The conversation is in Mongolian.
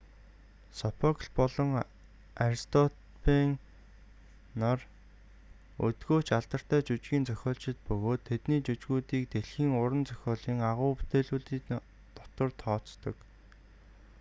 сопокл болон аристопэйн нар өдгөө ч алдартай жүжгийн зохиолчид бөгөөд тэдний жүжгүүдийг дэлхийн уран зохиолын агуу бүтээлүүдийн дотор тооцдог